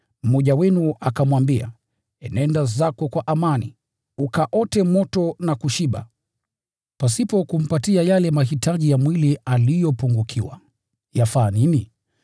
mmoja wenu akamwambia, “Enenda zako kwa amani, ukaote moto na kushiba,” pasipo kumpatia yale mahitaji ya mwili aliyopungukiwa, yafaa nini?